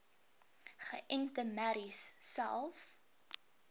geënte merries selfs